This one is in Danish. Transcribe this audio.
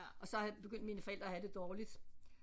Og så begyndte mine forældre at have det dårligt